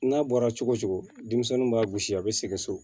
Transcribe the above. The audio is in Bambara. N'a bɔra cogo cogo denmisɛnninw b'a gosi a bɛ sɛgɛn so